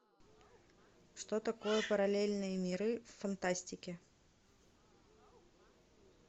что такое параллельные миры в фантастике